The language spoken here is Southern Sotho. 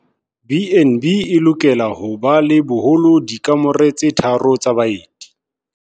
B and B e lokela ho ba le boholo dikamore tse tharo tsa baeti.